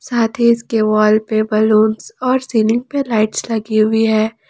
साथ ही इसके वॉल पे बलून्स और सीलिंग पे लाइट्स लगी हुई है।